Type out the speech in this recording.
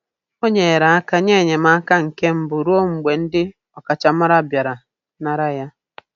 O nyere aka nye enyemaka nke mbụ ruo mgbe ndị ọkachamara bịara nara ya.